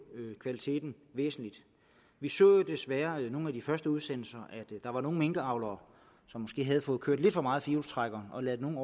kvaliteten væsentligt vi så jo desværre i nogle af de første udsendelser at der var nogle minkavlere som måske havde fået kørt lidt for meget i firehjulstrækkeren og ladet nogle